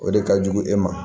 O de ka jugu e ma